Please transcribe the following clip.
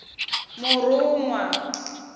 murunwa